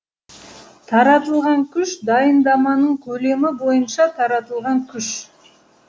таратылған күш дайындаманың көлемі бойынша таратылған күш